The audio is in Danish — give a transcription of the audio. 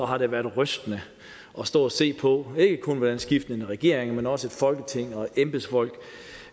har det været rystende at stå og se på ikke kun hvordan skiftende regeringer men også folketing og embedsfolk